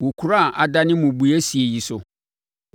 wɔ kuro a adane mmubuiɛ sie yi so.”